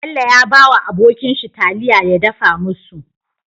Bello ya bawa abokin shi taliya ya dafa musu